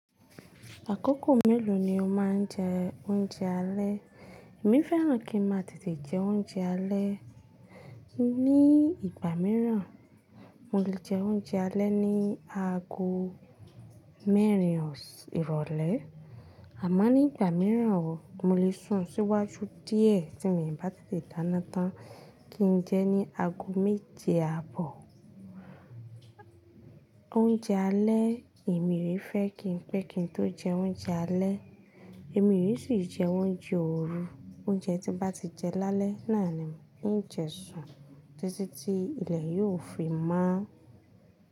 Àkókò mélòó ni o máa ń jẹ oúnjẹ alẹ́? Èmi fẹ́ràn kí n máa tètè jẹ oúnjẹ alẹ́. Ní ìgbà míràn, mo lè jẹ oúnjẹ alẹ́ ní ago mẹ́rin ìrọ̀lẹ́. Àmá ní ìgbà míràn, mo lè sun síwájú díẹ̀ tí mio bá tètè dáná tán kí n jẹ ní ago méje àbọ̀. Oúnjẹ alẹ́, èmi o fẹ́ kí n pé kí n tó jẹ oúnjẹ alẹ́. Èmi o sì ń jẹ oúnjẹ òru. Oúnjẹ tí bá ti jẹ lálẹ́ náà ni ń jẹ sun títí tí ilẹ̀ yóò fi mọ́.